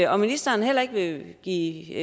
og ministeren heller ikke vil give